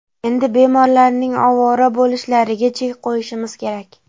Endi bemorlarning ovora bo‘lishlariga chek qo‘yishimiz kerak.